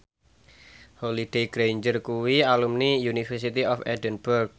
Holliday Grainger kuwi alumni University of Edinburgh